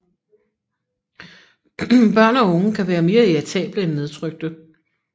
Børn og unge kan være mere irritable end nedtrykte